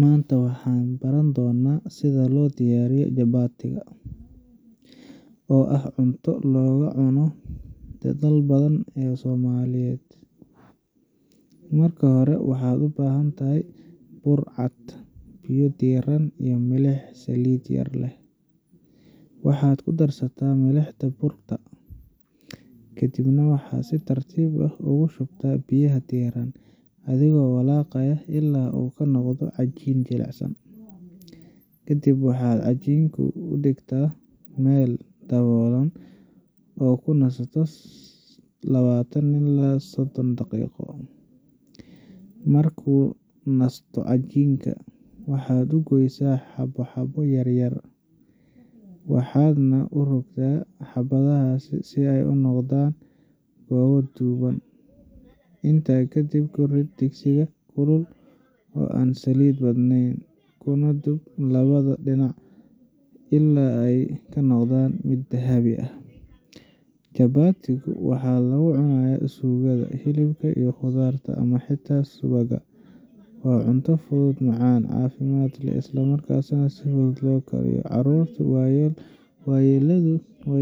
Maanta waxaan baran doonnaa sida loo diyaariyo chapati, oo ah cunto aad looga cuno dalal badan oo ay Soomaaliya ka mid tahay. Marka hore waxaad u baahan tahay bur cad, biyo diirran, milix iyo saliid yar. Waxaad ku darsataa milixda burka, kadibna waxaad si tartiib ah ugu shubtaa biyaha diirran adigoo walaaqaya ilaa uu ka noqdo cajiin jilicsan. Kadib waxaad cajiinka u dhigtaa meel daboolan oo uu ku nasto lawatan ilaa sodon daqiiqo. Markuu nasto cajiinka, waxaad u goysaa xabbo xabbo yar yar, waxaadna u rogrogi xabbahaas si ay u noqdaan goobo dhuuban. Intaa kadib, ku rid digsiga kulul oo aan saliid badnayn, kuna dub labada dhinac ilaa ay ka noqdaan dahab ah. Chapati ga waxaa lagu cunaa suugada, hilibka, khudradda, ama xitaa subagga. Waa cunto fudud, macaan, caafimaad leh, isla markaana si fudud loo kariyo. Carruurta iyo waayeelkuba